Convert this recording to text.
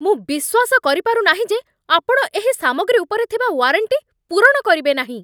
ମୁଁ ବିଶ୍ୱାସ କରିପାରୁ ନାହିଁ ଯେ ଆପଣ ଏହି ସାମଗ୍ରୀ ଉପରେ ଥିବା ୱାରେଣ୍ଟି ପୂରଣ କରିବେ ନାହିଁ।